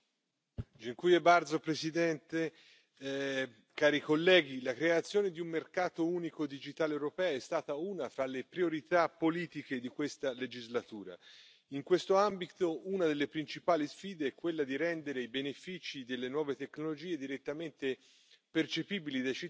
czasu. Cieszę się, że to czyni rząd mojego państwa. Chodzi o to, aby ludzie tracili mniej czasu w urzędach, a mogli więcej pracować i dzięki temu zarabiać więcej pieniędzy.